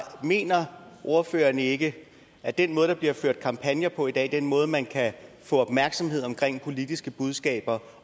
mener ordføreren ikke at den måde der bliver ført kampagne på i dag og den måde man kan få opmærksomhed omkring politiske budskaber